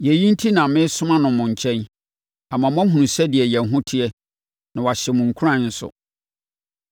Yei enti na meresoma no mo nkyɛn, ama moahunu sɛdeɛ yɛn ho teɛ na wahyɛ mo nkuran nso.